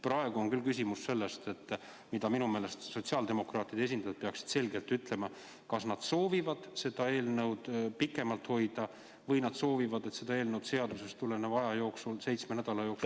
Praegu on küll küsimus selles, et minu meelest sotsiaaldemokraatide esindajad peaksid selgelt ütlema, kas nad soovivad seda eelnõu pikemalt hoida või nad soovivad, et seda eelnõu seadusest tuleneva aja jooksul, seitsme nädala jooksul ...